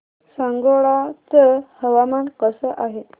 सांगोळा चं हवामान कसं आहे